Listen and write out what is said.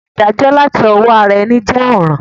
Ìdájó làti owó ara eni je òràn